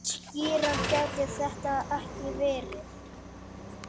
Skýrara gæti þetta ekki verið.